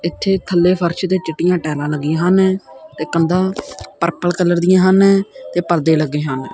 ਇੱਥੇ ਥੱਲੇ ਫਰਸ਼ ਤੇ ਚਿੱਟੀਆਂ ਟਾਇਲਾ ਲੱਗੀਆਂ ਹਨ ਤੇ ਕੰਦਾ ਪਰਪਲ ਕਲਰ ਦੀਆਂ ਹਨ ਤੇ ਪਰਦੇ ਲੱਗੇ ਹਨ।